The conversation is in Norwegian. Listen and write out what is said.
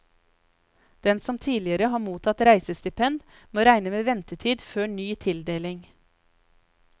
Den som tidligere har mottatt reisestipend, må regne med ventetid før ny tildeling.